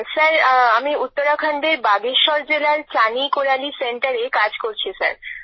sir আমি উত্তরাখণ্ডের বাগেশ্বর জেলার চানী কোরালী সেন্টারে কাজ করছি স্যার